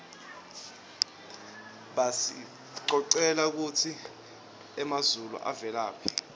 basicocela kutsi emazulu avelaphi